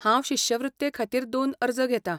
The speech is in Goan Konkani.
हांव शिश्यवृत्तेखातीर दोन अर्ज घेतां.